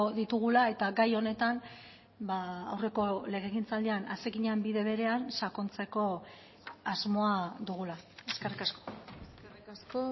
ditugula eta gai honetan aurreko legegintzaldian hasi ginen bide berean sakontzeko asmoa dugula eskerrik asko eskerrik asko